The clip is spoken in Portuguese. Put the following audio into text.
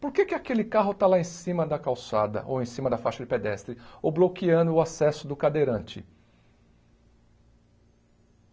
Por que que aquele carro está lá em cima da calçada, ou em cima da faixa de pedestre, ou bloqueando o acesso do cadeirante?